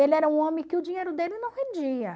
Ele era um homem que o dinheiro dele não rendia.